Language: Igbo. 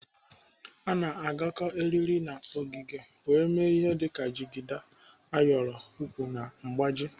A na-agakọ eriri na ọgịga wee mee ihe dịka jigida, ayọrọ egwu na mgbaji.